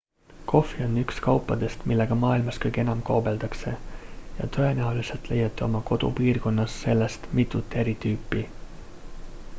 kohvi on üks kaupadest millega maailmas kõige enam kaubeldakse ja tõenäoliselt leiate oma kodupiirkonnas sellest mitut eri tüüpi